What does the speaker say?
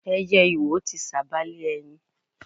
Ẹyẹ iwo ti sába lé ẹyin.